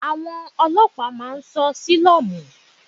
Àwọn Ọlọ́pàá máa ń ṣọ́ sílọ́mù.